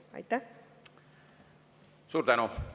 Suur tänu!